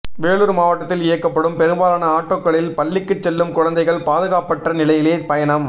வேலூர் மாவட்டத்தில் இயக்கப்படும் பெரும்பாலான ஆட்டோக்களில் பள்ளிக்குச் செல்லும் குழந்தைகள் பாதுகாப்பற்ற நிலையிலேயே பயணம்